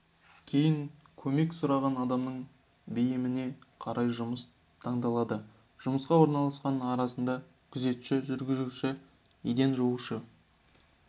кейін көмек сұраған адамның бейіміне қарай жұмыс таңдалады жұмысқа орналасқандар арасында күзетші жүргізуші еден жуушы